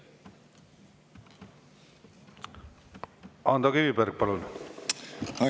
Ando Kiviberg, palun!